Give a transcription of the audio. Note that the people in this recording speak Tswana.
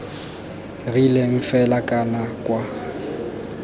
rileng fela kana c kwa